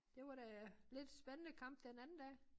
Det var da lidt spændende kamp den anden dag